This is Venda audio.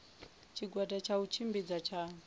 tshigwada tsha u tshimbidza tsha